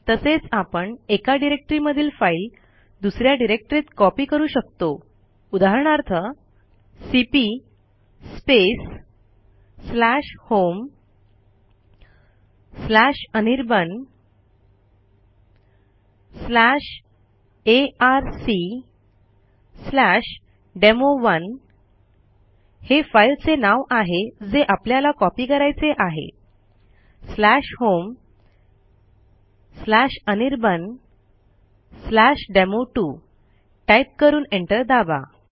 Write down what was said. तसेच आपण एका डिरेक्टरीमधील फाईल दुस या डिरेक्टरीत कॉपी करू शकतो उदाहरणार्थ सीपी homeanirbanarcdemo1 homeanirbandemo2 टाईप करून एंटर दाबा